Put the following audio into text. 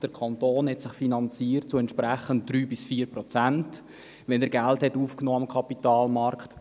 Der Kanton finanzierte sich entsprechend zu 3–4 Prozent, wenn am Kapitalmarkt Geld aufgenommen wurde.